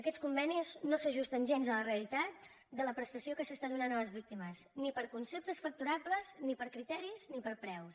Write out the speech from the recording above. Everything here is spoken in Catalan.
aquests convenis no s’ajusten gens a la realitat de la prestació que es dóna a les víctimes ni per conceptes facturables ni per criteris ni per preus